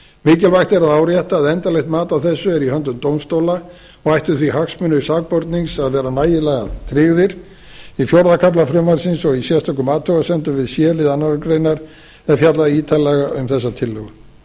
mikilvægt er að árétta að endanlegt mat á þessu er í höndum dómstóla og ættu því hagsmunir sakbornings að vera nægilega tryggðir í fjórða kafla frumvarpsins og í sérstökum athugasemdum við c lið annarrar greinar er fjallað ítarlega um þessa tillögu í